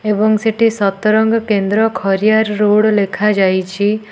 ଏବଂ ସେଠି ସତରଙ୍ଗ କେନ୍ଦ୍ର ଖରିଆର ରୋଡ଼ ଲେଖାଯାଇଚି।